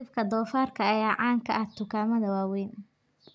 Hilibka doofaarka ayaa caan ka ah dukaamada waaweyn.